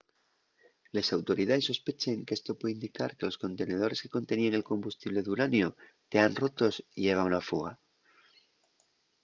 les autoridaes sospechen qu’esto puede indicar que los contenedores que conteníen el combustible d’uraniu tean rotos y heba una fuga